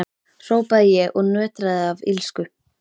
hrópaði ég og nötraði af illsku.